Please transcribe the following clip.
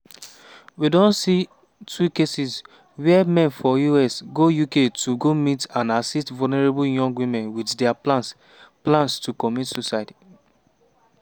we don see two cases wia men from us go uk to go meet and "assist" vulnerable young women wit dia plans plans to commit suicide.